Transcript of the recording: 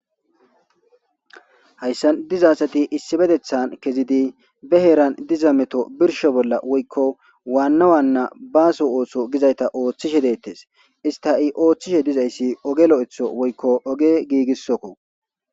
Hayssan diza asathi issibetheththan kezidi be heeran diza metho birshsho bolla woykko waanna waanna baaso ooso gizaytha ooththishe deeththes; istha i ooththishe dizayssi oge lo7etho woykko oge giigissokko.